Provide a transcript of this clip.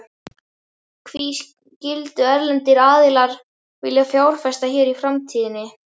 Hví skyldu erlendir aðilar vilja fjárfesta hér í framtíðinni?